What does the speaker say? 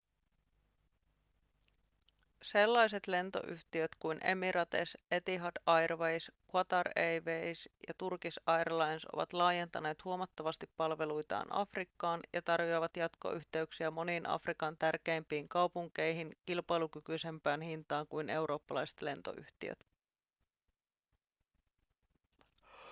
sellaiset lentoyhtiöt kuin emirates etihad airways qatar airways ja turkish airlines ovat laajentaneet huomattavasti palveluitaan afrikkaan ja tarjoavat jatkoyhteyksiä moniin afrikan tärkeimpiin kaupunkeihin kilpailukykyisempään hintaan kuin eurooppalaiset lentoyhtiöt